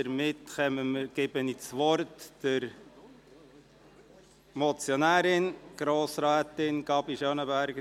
Damit erteile ich das Wort der Motionärin, Grossrätin Gabi Schönenberger.